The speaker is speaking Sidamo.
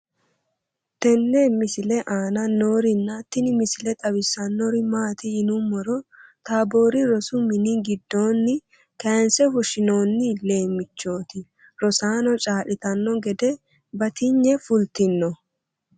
tenne misile aana noorina tini misile xawissannori maati yinummoro taaborri rosu minni gidoonni kayiinse fushshinnoonni leemmichchotti rosaanno caa'littanno gede batinye fulittinno